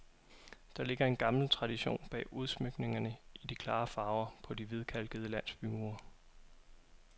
Der ligger en gammel tradition bag udsmykningerne i de klare farver på de hvidkalkede landsbymure.